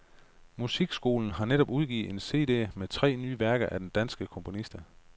Musikskolen har netop udgivet en cd med tre nye værker af danske komponister.